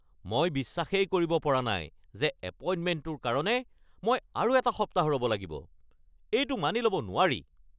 মই বিশ্বাসেই কৰিব পৰা নাই যে এপইণ্টমেণ্টটোৰ কাৰণে মই আৰু এটা সপ্তাহ ৰ'ব লাগিব। এইটো মানি ল'ব নোৱাৰি।